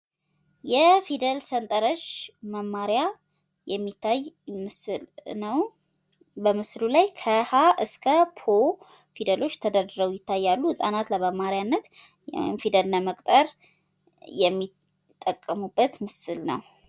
የፊደል ሰንጠረዥ መማሪያ የሚታይ ምስል ነዉ። በምስሉ ላይ ከ "ሀ እስከ ፖ " ፊደሎች ተደርድረዉ ይታያሉ። ህፃናት ለመማሪያነት ፊደል ለመቁጠር የሚጠቀሙበት ምስል ነዉ።